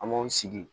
An b'aw sigi